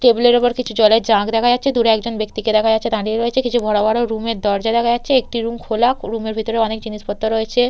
Table এর উপর কিছু জলের জাগ দেখা যাচ্ছে দূরে একজন ব্যক্তিকে দেখা যাচ্ছে দাঁড়িয়ে রয়েছে কিছু বড় বড় রুম এর দরজা দেখা যাচ্ছে একটি রুম খোলা রুম এর ভেতরে অনেক জিনিসপত্র রয়েছে।